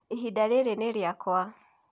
ihinda rĩrĩ nĩ rĩakwa